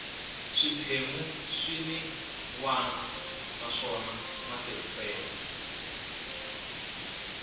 swiphemu swin wana naswona matirhiselo